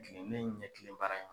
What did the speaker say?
Kile ne ye n ɲɛkile baara ma.